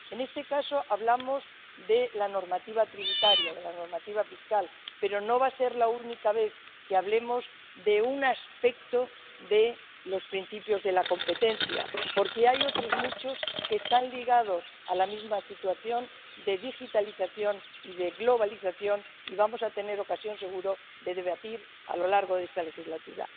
en este caso hablamos de la normativa tributaria, de la normativa fiscal, pero no va a ser la única vez que hablemos de un aspecto de los principios de la competencia, porque hay otros muchos aspectos que están ligados a la misma situación de digitalización y de globalización, y vamos a tener ocasión, seguro, de debatirlos a lo largo de esta legislatura.